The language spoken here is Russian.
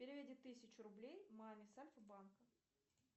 переведи тысячу рублей маме с альфа банка